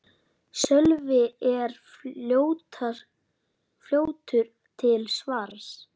Sölvi er fljótur til svars.